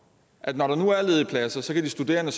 at når der nu er ledige pladser så kan de studerende